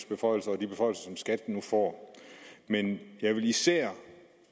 beføjelser og de beføjelser som skat nu får men jeg vil især